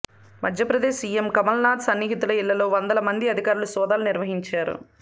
Madhya Pradesh CM Kamal Nath సన్నిహితుల ఇళ్లలో వందల మంది అధికారులు సోదాలు నిర్వహించారు